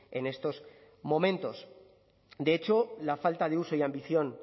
en estos momentos de hecho la falta de uso y ambición